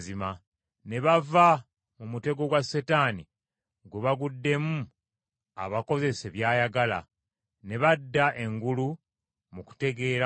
ne bava mu mutego gwa Setaani gwe baguddemu abakozese by’ayagala, ne badda engulu mu kutegeera kwabwe.